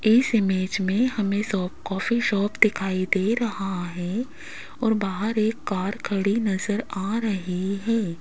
इस इमेज में हमें शॉप कॉफ़ी शॉप दिखाई दे रहा है और बाहर एक कार खड़ी नजर आ रही है।